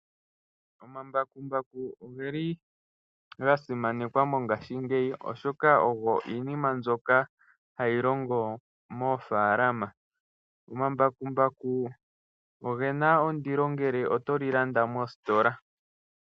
Omambakumbaku ogeli ga simanekwa mongashingeyi, oshoka ogo iinima mbyoka hayi longo moofaalama. Omambakumbaku ogena ondilo ngele otoli landa mositola.